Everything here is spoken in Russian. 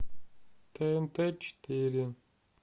тнт четыре